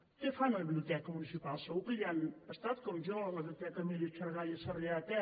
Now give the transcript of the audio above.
què fan a la biblioteca municipal segur que hi han estat com jo a la biblioteca emília xargay a sarrià de ter